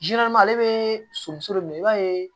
ale bɛ somuso de minɛ i b'a ye